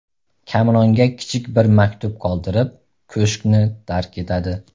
Kamronga kichik bir maktub qoldirib, ko‘shkni tark etadi.